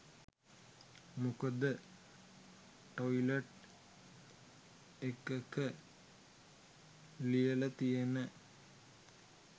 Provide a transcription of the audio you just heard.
මොකද ටොයිලට් එකක ලියලතියෙන